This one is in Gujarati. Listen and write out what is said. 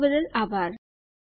જોડાવા બદ્દલ આભાર